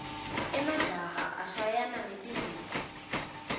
emajaha ashayana ngetinduku